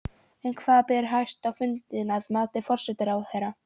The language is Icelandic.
En hvað ber hæst á fundinum, að mati forsætisráðherra?